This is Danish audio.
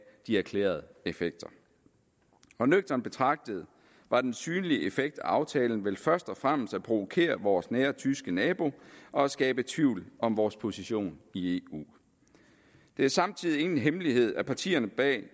de erklærede effekter og nøgternt betragtet var den synlige effekt af aftalen vel først og fremmest at provokere vores nære tyske nabo og at skabe tvivl om vores position i eu det er samtidig ingen hemmelighed at partierne bag